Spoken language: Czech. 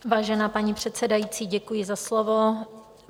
Vážená paní předsedající, děkuji za slovo.